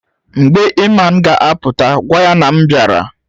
Mgbe Iman ga-a pụta gwa ya na m bịara